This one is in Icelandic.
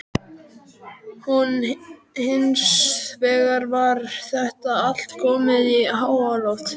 Nú hins vegar var þetta allt komið í háaloft.